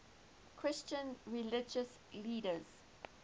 christian religious leaders